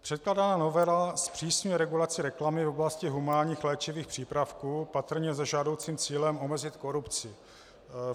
Předkládaná novela zpřísňuje regulaci reklamy v oblasti humánních léčivých přípravků patrně se žádoucím cílem omezit korupci.